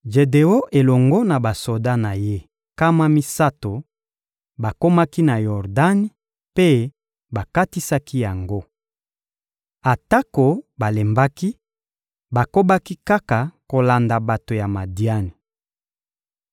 Jedeon elongo na basoda na ye nkama misato bakomaki na Yordani mpe bakatisaki yango. Atako balembaki, bakobaki kaka kolanda bato ya Madiani.